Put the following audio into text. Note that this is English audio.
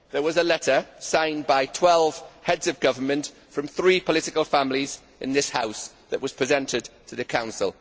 There was a letter, signed by 12 Heads of Government, from three political families in this House, which was presented to the Council.